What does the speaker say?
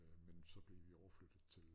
Men så blev vi overflyttet til